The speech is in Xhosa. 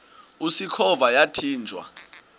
usikhova yathinjw a